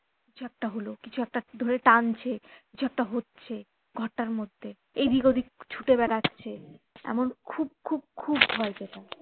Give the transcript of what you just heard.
কিছু একটা হলো কিছু একটা ধরে টানছে কিছু একটা হচ্ছে ঘরটার মধ্যে এদিক ওদিক ছুতে বেড়াচ্ছে এমন খুব খুব খুব ভয় পেতাম